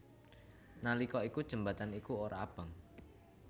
Nalika iku jembatan iku ora abang